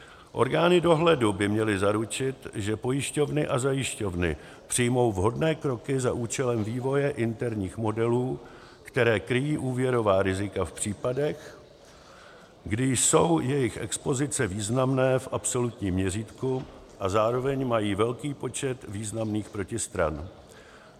Orgány dohledu by měly zaručit, že pojišťovny a zajišťovny přijmou vhodné kroky za účelem vývoje interních modelů, které kryjí úvěrová rizika v případech, kdy jsou jejich expozice významné v absolutním měřítku a zároveň mají velký počet významných protistran.